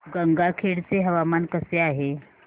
गंगाखेड चे हवामान कसे आहे